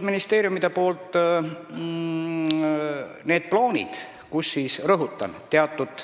Ministeeriumid on mulle esitanud need plaanid, mille järgi – rõhutan, teatud